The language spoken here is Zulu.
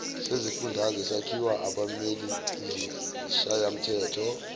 sezifundazwe sakhiwa abameleizishayamthetho